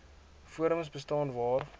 forums bestaan waar